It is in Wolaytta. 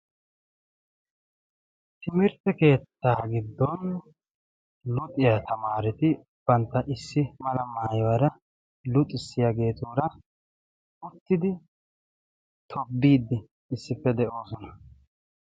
Timirtte keettaa giddon luxiyaa tamaareti bantta issi mala maaywaara luxissiyaageetuura uttidi tobidi issippe de'oosona.